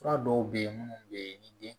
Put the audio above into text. Fura dɔw bɛ yen minnu bɛ yen ni den